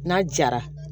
N'a jara